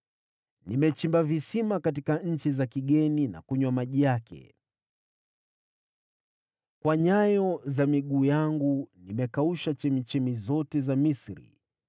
Nimechimba visima katika nchi za kigeni na kunywa maji yake. Kwa nyayo za miguu yangu nimekausha vijito vyote vya Misri.”